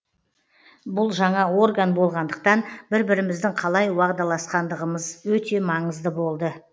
бұл жаңа орган болғандықтан бір біріміздің қалай уағдаласқандығымыз өте маңызды болды